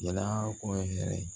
Jɛna ko ye hɛrɛ ye